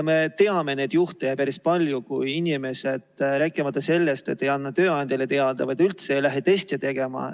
Me teame neid juhte ju päris palju, kui inimesed mitte ainult ei anna tööandjale teada, vaid üldse ei lähe testi tegema.